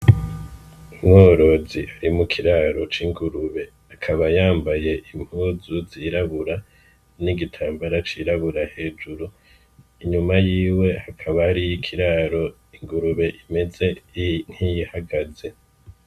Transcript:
Umworozi ari mu kiraro c'ingirube. Akaba yambaye impuzu zirabura n'igitambara cirabura hejuru. Inyuma y'iwe hakaba hariyo ikiraro c'ingurube, imeze nk'iyihagaze.